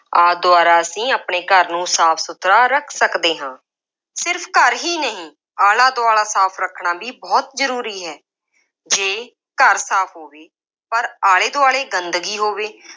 ਆਦਿ ਦੁਆਰਾ ਅਸੀਂ ਆਪਣੇ ਘਰ ਨੂੰ ਸਾਫ ਸੁਥਰਾ ਰੱਖ ਸਕਦੇ ਹਾਂ। ਸਿਰਫ ਘਰ ਹੀ ਨਹੀਂ ਆਲਾ-ਦੁਆਲਾ ਸਾਫ ਰੱਖਣਾ ਵੀ ਬਹੁਤ ਜ਼ਰੂਰੀ ਹੈ। ਜੇ ਘਰ ਸਾਫ ਹੋਵੇ ਪਰ ਆਲੇ ਦੁਆਲੇ ਗੰਦਗੀ ਹੋਵੇ